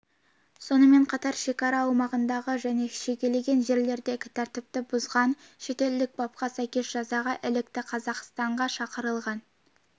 сонымен қатар шекара аумағындағы және жекелеген жерлердегі тәртіпті бұзған шетелдік бапқа сәйкес жазаға ілікті қазақстанға шақырылған